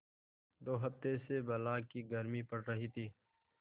दो हफ्ते से बला की गर्मी पड़ रही थी